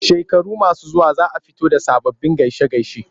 Shekaru masu zuwa za a fito da sababbin gaishe-gaishe.